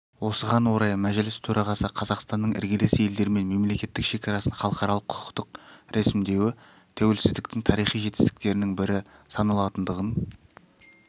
осыған орай мәжіліс төрағасы қазақстанның іргелес елдермен мемлекеттік шекарасын халықаралық-құқықтық рәсімдеуі тәуелсіздіктің тарихи жетістіктерінің бірі саналатындығын